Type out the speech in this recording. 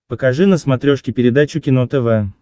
покажи на смотрешке передачу кино тв